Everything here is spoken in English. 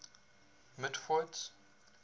mitford's